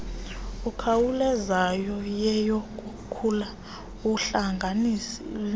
ekhawulezayo neyokukhula okuhlangeneyo